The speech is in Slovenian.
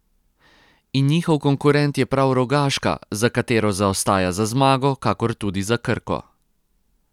In njihov konkurent je prav Rogaška, za katero zaostaja za zmago, kakor tudi za Krko.